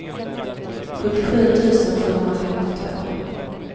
sjuttiosju tusen sjuhundrafemtiotvå